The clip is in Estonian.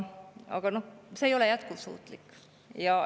Aga see ei ole jätkusuutlik.